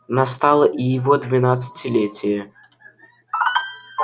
настало и его двенадцатилетие